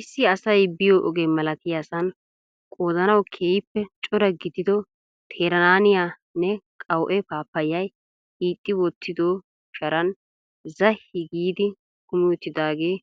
Issi asay biyo oge malattiyasan qodanawu keehiippe cora gidido teeranaaniyanne qawu'e pappaayay hixxi wottido sharaan zahi giidi kumi uttidaagee